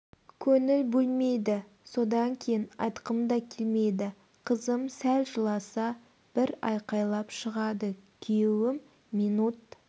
көңіл бөлмейді содан кейін айтқым да келмейді қызым сл жыласа бір айқайлап шығады күйеуім минут